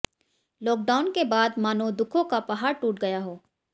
lockdown के बाद मानो दुखों का पहाड़ टूट गया हो